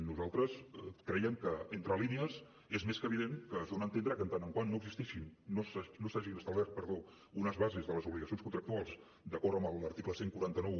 nosaltres crèiem que entre línies és més que evident que es dona a entendre que en tant que no s’hagin establert unes bases de les obligacions contractuals d’acord amb l’article catorze noranta u